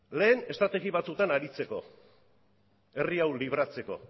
lehen estrategia batzuk aritzeko herri hau libratzeko